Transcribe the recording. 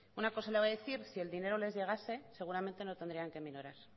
una cosa le voy a decir si el dineroles llegase seguramente no tendrían que minorar